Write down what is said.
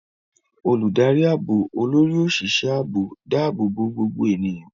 Olùdarí ààbò, Olórí Òṣìṣẹ́ Ààbò, dáàbò bo gbogbo ènìyàn.